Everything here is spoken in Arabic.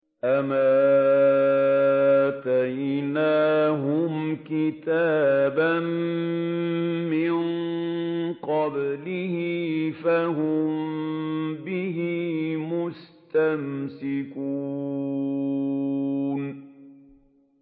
أَمْ آتَيْنَاهُمْ كِتَابًا مِّن قَبْلِهِ فَهُم بِهِ مُسْتَمْسِكُونَ